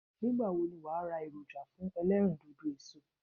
Nígbàwo ni wàá ra èròjà fún elérìndòdò èso